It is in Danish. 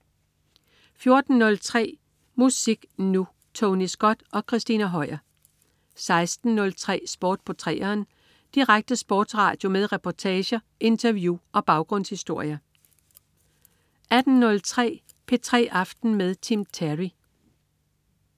14.03 Musik Nu! Tony Scott og Christina Høier 16.03 Sport på 3'eren. Direkte sportsradio med reportager, interview og baggrundshistorier 18.03 P3 aften med Tim Terry